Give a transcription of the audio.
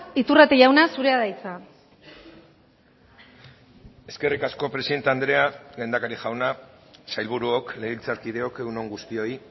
iturrate jauna zurea da hitza eskerrik asko presidente andrea lehendakari jauna sailburuok legebiltzarkideok egun on guztioi